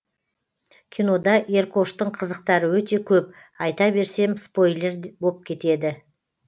кинода еркоштың қызықтары өте көп айта берсем спойлер боп кетеді